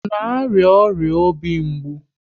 Ọ na arịa ọrịa obi mgbu?